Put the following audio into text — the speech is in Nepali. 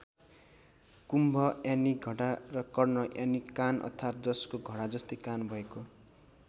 कुम्भ यानि घडा र कर्ण यानि कान अर्थात जसको घडा जस्तै कान भएको।